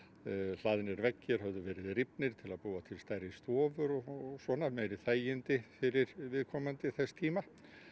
hlaðnir veggir höfðu verið rifnir til að búa til stærri stofur og svona meiri þægindi fyrir viðkomandi þess tíma